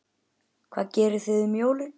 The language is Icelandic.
Hvað gerið þið um jólin?